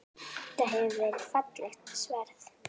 Þetta hefur verið fallegt sverð?